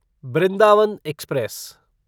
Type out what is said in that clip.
Brindavan express